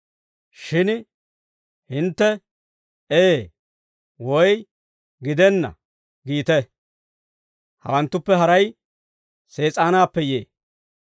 Shin hintte, ‹Ee› woy, ‹Gidenna› giite; hawanttuppe haray Sees'aanaappe yee.